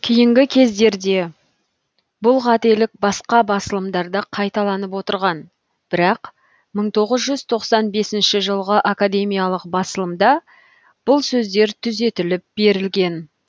кейінгі кездерде бұл қателік басқа басылымдарда қайталанып отырған бірақ мың тоғыз жүз тоқсан бесінші жылғы академиялық басылымда бұл сөздер түзетіліп берілген